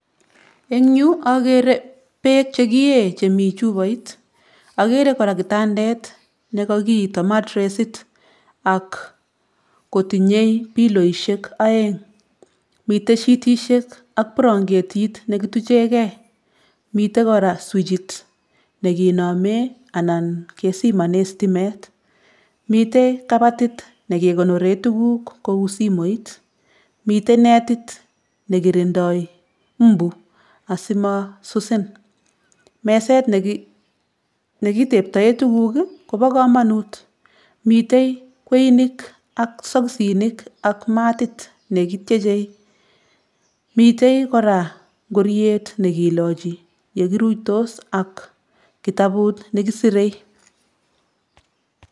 Eng yu akere beek chekiye chemi chupoit. Akere kora kitandet nekakiito martesit ak kotinye piloishek oeng. Mitei shitishek ak buranketit nekituchekei. Mite kora swichit nekinome anan kesimone stimet. Mite kabatit nekekonore tuguk kou simoit. Mite netit nekirindoi mbu asimasusin. Meset nekiteptoe tuguk kopo komonut. Mite kweinik ak sokisinik ak matit nekityechei. Mite kora nkoriet nekilochi yekiruitos ak kitabut nekisire.